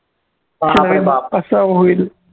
बाप रे बाप कसं होईल